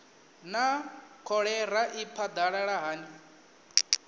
naa kholera i phadalala hani